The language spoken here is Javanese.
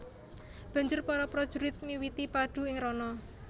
Banjur para prajurit miwiti padu ing rana